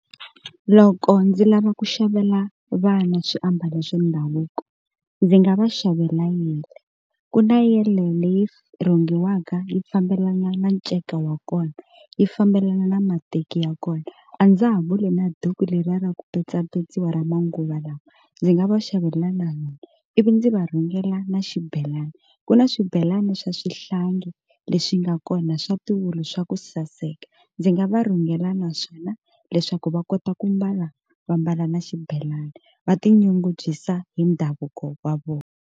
Loko ndzi lava ku xavela vana swiambalo swa ndhavuko ndzi nga va xavela ku na leyi rhungiwaka yi fambelana na nceka wa kona yi fambelana na mateki ya kona a ndza ha vuli duku leriya ra ku petsapetsiwa ra manguva, lawa ndzi nga va xavela na yona ivi ndzi va rhungela na xibelani ku na swibelani swa xihlangi lexi nga kona swa tiwulu swa ku saseka, ndzi nga va rhungela naswona leswaku va kota ku mbala va mbala na xibelani va tinyungubyisa hi ndhavuko wa vona.